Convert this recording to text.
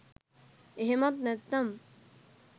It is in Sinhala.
එහෙමත් නැත්තම්